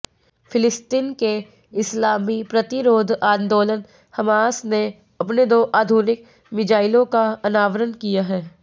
फ़िलिस्तीन के इस्लामी प्रतिरोध आंदोलन हमास ने अपने दो आधुनिक मिज़ाइलों का अनावरण किया है